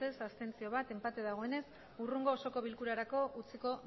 abstentzioak bat enpate dagoenez hurrengo osoko bilkurarako utziko